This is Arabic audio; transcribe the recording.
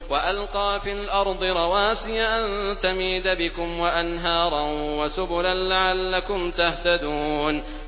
وَأَلْقَىٰ فِي الْأَرْضِ رَوَاسِيَ أَن تَمِيدَ بِكُمْ وَأَنْهَارًا وَسُبُلًا لَّعَلَّكُمْ تَهْتَدُونَ